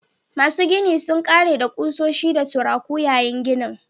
Masu ginin sun ƙare da kusoshi da turaku yayin ginin